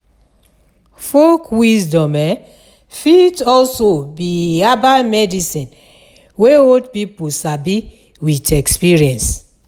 Folk wisdom um fit also be herbal medicine wey old pipo sabi with experience